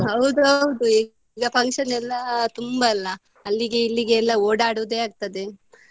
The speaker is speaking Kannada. ಹೌದು ಹೌದು ಈಗ function ಎಲ್ಲ ತುಂಬಾ ಅಲ್ಲಾ ಅಲ್ಲಿಗೆ ಇಲ್ಲಿಗೆ ಎಲ್ಲ ಓಡಾಡುದೆ ಆಗ್ತದೆ.